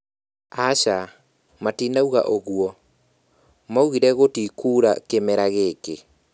Aca, matinauga ũguo. Maugire gũtikuura kĩmera gĩkĩ